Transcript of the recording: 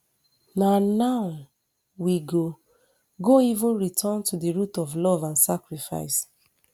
na now we go go even return to di root of love and sacrifice